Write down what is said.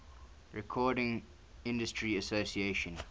recording industry association